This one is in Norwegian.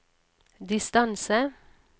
distance